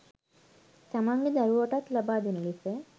තමන්ගේ දරුවටත් ලබා දෙන ලෙස